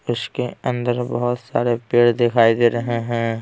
इसके अंदर बहुत सारे पेड़ दिखाई दे रहे हैं।